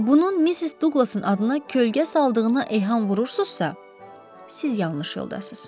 Bunun Missis Douglasın adına kölgə saldığına eyham vurursunuzsa, siz yanlış yoldasız.